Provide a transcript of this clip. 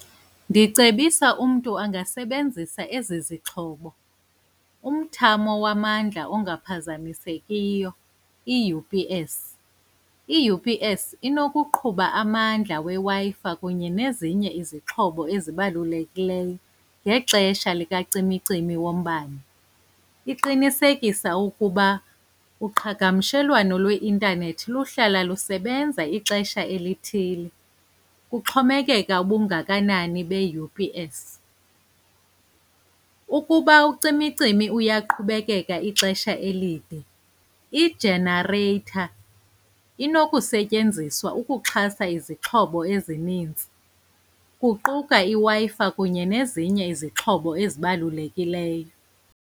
Ndicebisa umntu angasebenzisa ezi zixhobo, umthamo wamandla ongaphazamisekiyo, i-U_P_S. I-U_P_S inokuqhuba amandla weWi-Fi kunye nezinye izixhobo ezibalulekileyo ngexesha likacimicimi wombane. Iqinisekisa ukuba uqhagamshelwano lweintanethi luhlala lusebenza ixesha elithile. Kuxhomekeka ubungakanani beU_P_S. Ukuba ucimicimi uyaqhubekeka ixesha elide, ijenareyitha inokusetyenziswa ukuxhasa izixhobo ezininzi, kuquka iWi-Fi kunye nezinye izixhobo ezibalulekileyo.